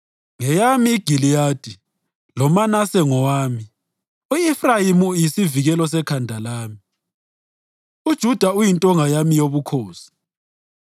Ngeyami iGiliyadi, loManase ngowami; u-Efrayimi yisivikelo sekhanda lami, uJuda uyintonga yami yobukhosi.